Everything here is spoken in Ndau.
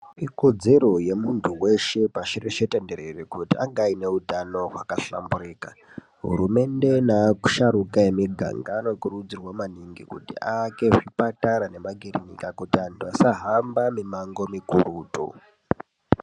Ikodzero yemuntu weshe pashi reshe tenderere kuti ange ane utano hwakahlamburika. Hurumende naasharuka emuganga anokurudzirwa maningi kuti aake zvipatara nemakirinika kuti antu asahamba mimango mikurutu.